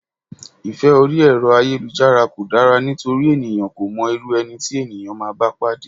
Ìfẹ́ orí Ẹ̀rọ ayélujára kò dára nítorí ènìyàn kò mọ irú ẹni tí ènìyàn máa bá pàdé.